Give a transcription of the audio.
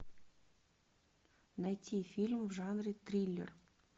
найти фильм в жанре триллер